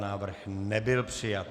Návrh nebyl přijat.